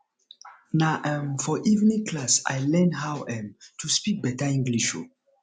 na um for evening class i learn how um to speak better english um